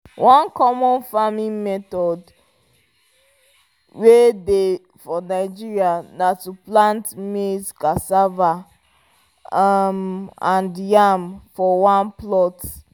one common farming method way dey for nigeria na to plant maize cassava um and yam for one plot